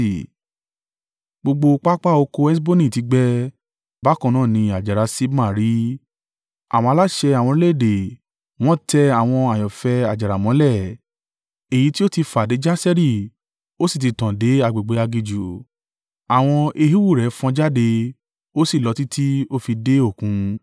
Gbogbo pápá oko Heṣboni ti gbẹ, bákan náà ni àjàrà Sibma rí. Àwọn aláṣẹ àwọn orílẹ̀-èdè wọ́n tẹ àwọn àyànfẹ́ àjàrà mọ́lẹ̀, èyí tí ó ti fà dé Jaseri ó sì ti tàn dé agbègbè aginjù. Àwọn èhíhù rẹ̀ fọ́n jáde, ó sì lọ títí ó fi dé Òkun.